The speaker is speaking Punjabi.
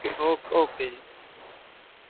okay ਜੀ